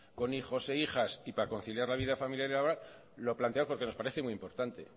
con hijos e hijas y para conciliar la vida familiar y laboral lo planteamos porque nos parece muy importante